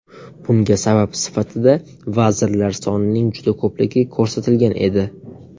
Bunga sabab sifatida vazirlar sonining juda ko‘pligi ko‘rsatilgan edi.